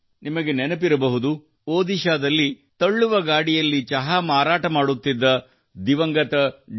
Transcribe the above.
ನಿಮಗೆ ನೆನಪಿರಬಹುದು ಒಡಿಶಾದಲ್ಲಿ ತಳ್ಳುವ ಗಾಡಿಯಲ್ಲಿ ಚಹಾ ಮಾರಾಟ ಮಾಡುತ್ತಿದ್ದ ದಿವಂಗತ ಡಿ